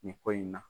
Nin ko in na